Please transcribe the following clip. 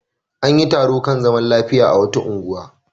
An yi taro kan zaman lafiya a wata unguwa.